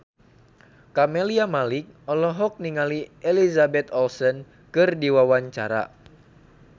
Camelia Malik olohok ningali Elizabeth Olsen keur diwawancara